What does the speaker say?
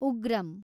Ugramm